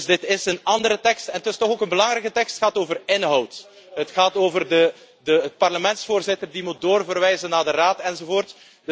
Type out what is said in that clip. Dus dit is een andere tekst. En het is toch ook een belangrijke tekst, het gaat over inhoud, namelijk over de Parlementsvoorzitter die moet doorverwijzen naar de Raad, enzovoort.